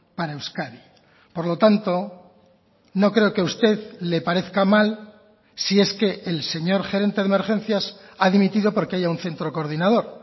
para euskadi por lo tanto no creo que a usted le parezca mal si es que el señor gerente de emergencias ha dimitido porque haya un centro coordinador